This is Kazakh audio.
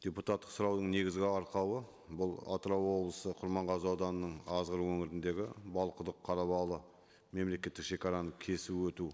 депутаттық сұраудың негізгі арқауы бұл атырау облысы құрманғазы ауданының азғыр өңіріндегі балқұдық қарабалы мемлекеттік шегараның кесіп өту